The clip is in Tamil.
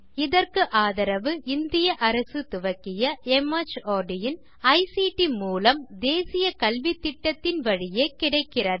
இதற்கு ஆதரவு இந்திய அரசு துவக்கிய மார்ட் இன் ஐசிடி மூலம் தேசிய கல்வித்திட்டத்தின் வழியே கிடைக்கிறது